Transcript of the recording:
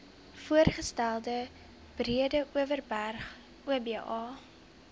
voorgestelde breedeoverberg oba